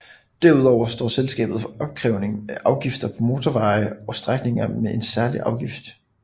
Derudover står selskabet for opkrævning af afgifter på motorveje og strækninger med en særlig afgift